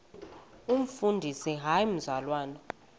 umfundisi hayi mzalwana